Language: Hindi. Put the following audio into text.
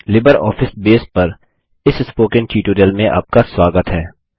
लिबरऑफिस बेस पर इस स्पोकन ट्यूटोरियल में आपका स्वागत है